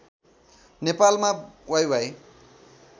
नेपालमा वाइवाइ